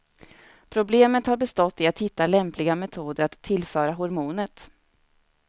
Problemet har bestått i att hitta lämpliga metoder att tillföra hormonet.